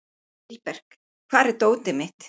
Vilbert, hvar er dótið mitt?